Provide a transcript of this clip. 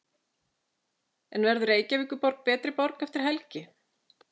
En verður Reykjavíkurborg betri borg eftir helgi?